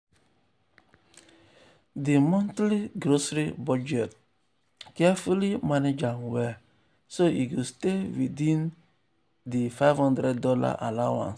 um di montly grocery budget carefully um manage am well so e go stay within go stay within di five hundred dollars allowance.